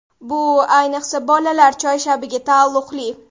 Bu, ayniqsa bolalar choyshabiga taalluqli.